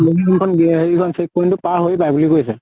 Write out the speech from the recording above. কুলসি হেৰি সেইখিন check point টো পাৰ হৈ পায় বুলি কৈছে।